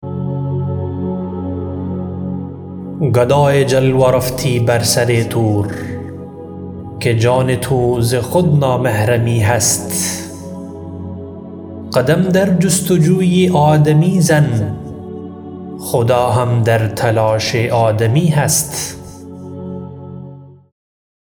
گدای جلوه رفتی بر سر طور که جان تو ز خود نامحرمی هست قدم در جستجوی آدمی زن خدا هم در تلاش آدمی هست